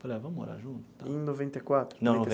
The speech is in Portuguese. Falei, ah vamos morar junto tal. Em noventa e quatro? Não,